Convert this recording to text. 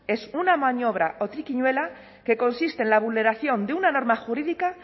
es una maniobra o triquiñuela que consiste en la vulneración de una norma jurídica